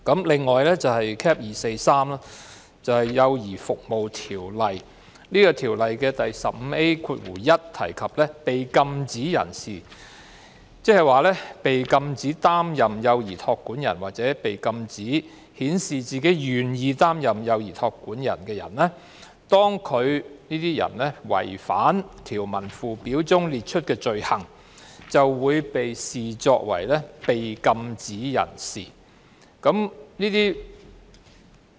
另一受影響的是《幼兒服務條例》，當中第 15A1 條訂明，被禁止不得擔任幼兒託管人或被禁止顯示自己為願意擔任幼兒託管人的人，如違反條文附表列出的罪行，會被視作被禁止人士。